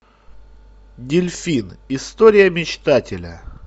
дельфин история мечтателя